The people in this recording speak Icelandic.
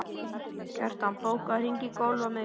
Kjartan, bókaðu hring í golf á miðvikudaginn.